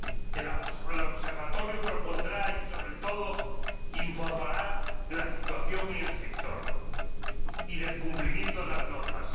El Observatorio propondrá y, sobre todo, informará de la situación en el sector y del cumplimiento de las normas.